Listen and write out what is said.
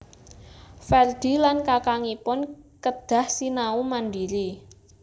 Ferdi lan kakangipun kedah sinau mandiri